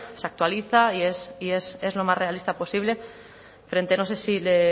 se actualiza y es lo más realista posible frente no sé si le